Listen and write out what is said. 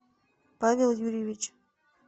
павел юрьевич